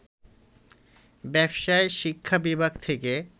ব্যবসায় শিক্ষা বিভাগ থেকে